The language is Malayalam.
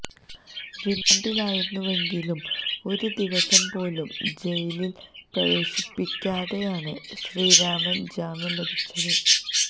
റിമാൻഡിലായിരുന്നുവെങ്കിലും ഒരു ദിവസം പോലും ജയിലിൽ പ്രവേശിപ്പിക്കാതെയാണ് ശ്രീറാമിന് ജാമ്യം ലഭിച്ചത്